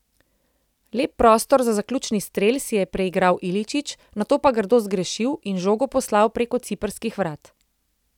Lep prostor za zaključni strel si je preigral Iličić, nato pa grdo zgrešil in žogo poslal preko ciprskih vrat.